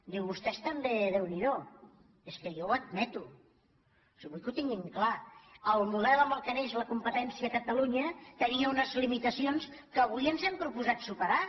diu vostès tam·bé déu n’hi do és que jo ho admeto si vull que ho tinguin clar el model amb què neix la competència a catalunya tenia unes limitacions que avui ens hem pro·posat superar